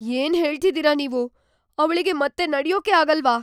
ಏನ್ ಹೇಳ್ತಿದೀರ ನೀವು? ಅವ್ಳಿಗೆ ಮತ್ತೆ ನಡ್ಯೋಕೇ ಆಗಲ್ವಾ?